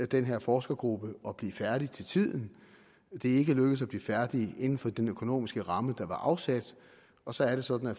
den her forskergruppe at blive færdig til tiden det er ikke lykkedes at blive færdig inden for den økonomiske ramme der var afsat og så er det sådan at